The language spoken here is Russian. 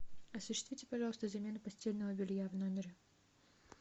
осуществите пожалуйста замену постельного белья в номере